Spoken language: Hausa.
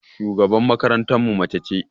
Shugaban makarantan mu mace ce.